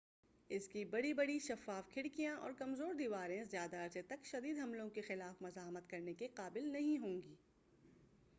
اس کی بڑی بڑی شفاف کھڑکیاں اور کمزور دیواریں زیادہ عرصے تک شدید حملوں کے خلاف مزاحمت کرنے کے قابل نہیں ہوں گی